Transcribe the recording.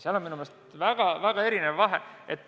Minu meelest on selles suur vahe.